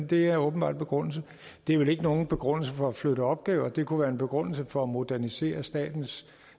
det er åbenbart begrundelsen det er vel ikke nogen begrundelse for at flytte opgaver det kunne være en begrundelse for at modernisere statens